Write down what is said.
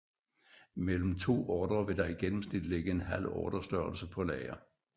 I mellem to ordrer vil der i gennemsnit ligge en halv ordrestørrelse på lager